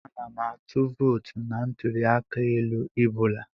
Ana m atụ vootu na ntụli aka elu I bụla.